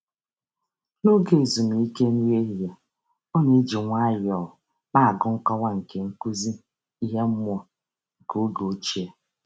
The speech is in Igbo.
N'oge ezumike nri ehihie, ọ na-eji nwayọọ na-agụ nkọwa nke nkụzi ihe mmụọ nke oge ochie.